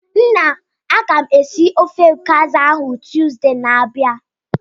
Nna, agam esi ofe Okazi ahu Tuzdee na-abia.